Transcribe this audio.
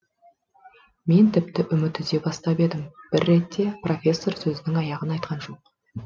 мен тіпті үміт үзе бастап едім бір ретте профессор сөзінің аяғын айтқан жоқ